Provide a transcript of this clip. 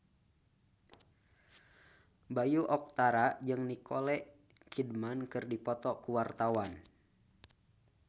Bayu Octara jeung Nicole Kidman keur dipoto ku wartawan